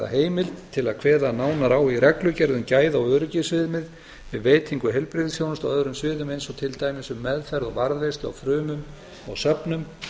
heimild til að kveða nánar á í reglugerð um gæða og öryggisviðmið um veitingu heilbrigðisþjónustu á öðrum sviðum eins og til dæmis um meðferð og varðveislu á frumum á söfnum